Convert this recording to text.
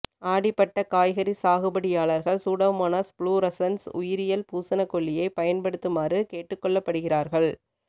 ஆடிப்பட்ட காய்கறி சாகுபடியாளர்கள் pseudomonas fluorescens உயிரியல் பூசணக்கொல்லியை பயன் படுத்துமாறு கேட்டு கொள்ளபடுகிறார்கள்